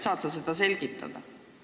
Saad sa seda selgitada?